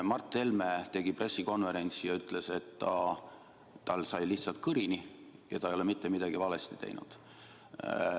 Mart Helme tegi pressikonverentsi ja ütles, et tal sai kõrini, aga ta ei ole mitte midagi valesti teinud.